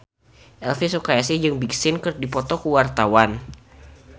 Elvi Sukaesih jeung Big Sean keur dipoto ku wartawan